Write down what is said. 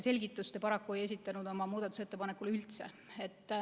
Selgitust te paraku ei esitanud oma muudatusettepaneku kohta üldse.